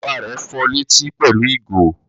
Bàbá rẹ̀ fọ létí pẹ̀lú ìgò?